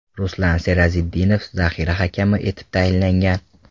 Ruslan Serazitdinov zaxira hakami etib tayinlangan.